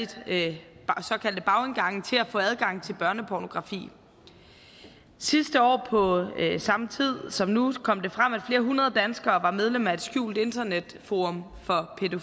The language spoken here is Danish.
til at få adgang til børnepornografi sidste år på samme tid som nu kom det frem at flere hundrede danskere var medlem af et skjult internetforum for